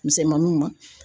Misɛnmaninw ma